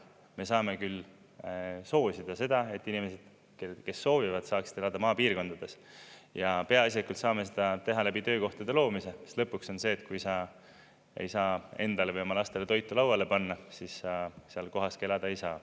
Me saame küll soosida seda, et inimesed, kes soovivad, saaksid elada maapiirkondades, ja peaasjalikult saame seda teha läbi töökohtade loomise, mis lõpuks on see, et kui sa ei saa endale või oma lastele toitu lauale panna, siis sa seal kohas ka elada ei saa.